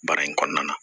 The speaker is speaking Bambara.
Baara in kɔnɔna na